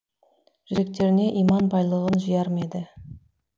жүректеріне иман байлығын жияр ма еді